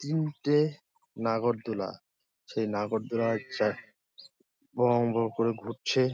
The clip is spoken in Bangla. তিনটে নাগরদোলা। সেই নাগরদোলায় চাপ ভঁ ভঁ করে ঘুরছে--